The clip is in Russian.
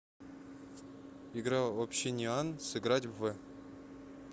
игра общениан сыграть в